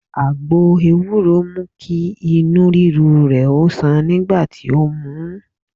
Àgbo ewúro mú kí Inú ríru rè o sàn nígbà tí ó mu ú